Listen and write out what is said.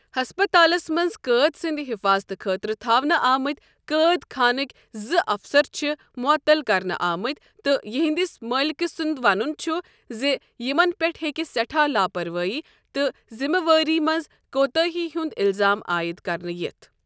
ہسپَتالس منٛز قۭدۍ سٕنٛدِ حفاضتہٕ خٲطرٕ تھاونہٕ آمٕتۍ قۭدۍ خانٕکۍ زٕ افسر چھِ معطل کرنہٕ آمٕتۍ تہٕ یِہنٛدِس مٲلِکہٕ سنٛد ونن چھ ز یمن پٮ۪ٹھ ہیٚکہِ سٮ۪ٹھا لاپروٲیی تہٕ ذِمہٕ وٲری منٛز كوتٲہی ہنٛد الزام عٲید كرنہٕ یِتھ ۔